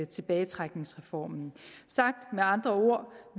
tilbagetrækningsreformen sagt med andre ord